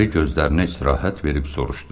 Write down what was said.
Əri gözlərinə istirahət verib soruşdu.